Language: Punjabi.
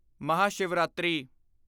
ਮਹਾਸ਼ਿਵਰਾਤਰੀ